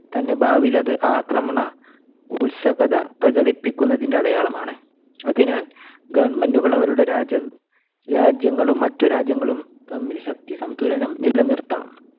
തന്നെ ഭാവിയിൽ അത് ആക്രമണം ഉത്സുകത പ്രകടിപ്പിക്കുന്നതിന്റെ അടയാളമാണ്. അതിനാൽ ഗവൺമെന്റുകൾ അവരുടെ രാജ്യ രാജ്യങ്ങളും മറ്റു രാജ്യങ്ങളും തമ്മിൽ ശക്തി സന്തുലനം നിലനിർത്തണം.